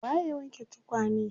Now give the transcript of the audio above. Waye ya wanke tukane?